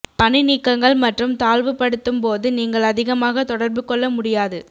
பணிநீக்கங்கள் மற்றும் தாழ்வுபடுத்தும் போது நீங்கள் அதிகமாக தொடர்பு கொள்ள முடியாது